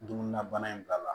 Dumuni na bana in b'a la